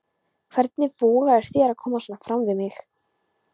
Hvernig vogarðu þér að koma svona fram við mig!